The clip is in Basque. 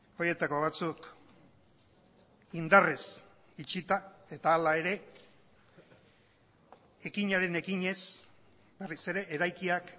horietako batzuk indarrez itxita eta hala ere ekinaren ekinez berriz ere eraikiak